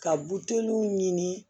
Ka buteliw ɲini